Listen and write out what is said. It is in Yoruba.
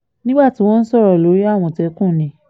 nígbà tí wọ́n ń sọ̀rọ̀ lórí àmọ̀tẹ́kùn ni